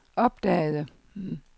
opdagede